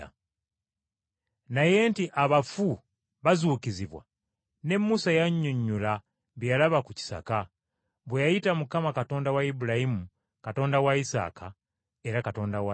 Naye nti abafu bazuukizibwa, ne Musa yannyonnyola bye yalaba ku kisaka, bwe yayita Mukama Katonda wa Ibulayimu, Katonda wa Isaaka, era Katonda wa Yakobo.